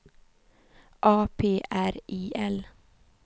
A P R I L